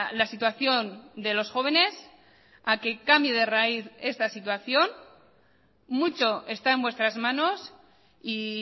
la situación de los jóvenes a que cambie de raíz esta situación mucho está en vuestras manos y